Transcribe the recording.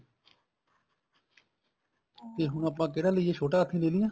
ਤੇ ਆਪਾਂ ਹੁਣ ਆਪਾਂ ਕਿਹੜਾ ਲਈਏ ਛੋਟਾ ਹਾਥੀ ਲੈ ਲਈਏ